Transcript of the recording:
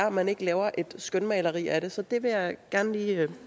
at man ikke laver et skønmaleri af det så det vil jeg gerne lige